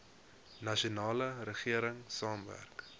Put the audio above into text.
nasionale regering saamwerk